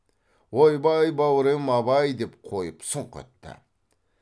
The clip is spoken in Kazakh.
ойбай бау рем абай деп қойып сұнқ етті